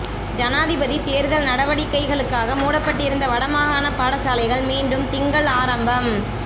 ஜனாதிபதித் தேர்தல் நடவடிக்கைகளுக்காக மூடப்பட்டிருந்த வடமாகாணப் பாடசாலைகள் மீண்டும் திங்கள் ஆரம்பம்